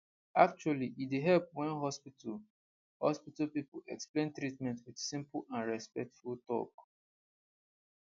actually e dey help well when hospital hospital people explain treatment with simple and respectful talk